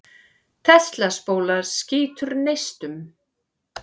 Tesla-spóla skýtur neistum.